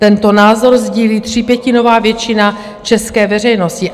Tento názor sdílí třípětinová většina české veřejnosti.